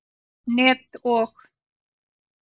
net og.